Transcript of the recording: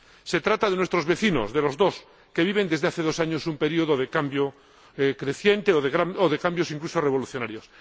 Se trata de nuestros vecinos —de los dos—, que viven desde hace dos años un periodo de cambio creciente o de cambios incluso revolucionarios.